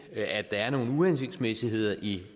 at der er nogle uhensigtsmæssigheder i